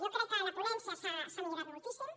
jo crec que a la ponència s’ha millorat moltíssim